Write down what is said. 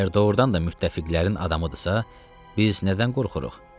Əgər doğrudan da müttəfiqlərin adamıdırsa, biz nədən qorxuruq?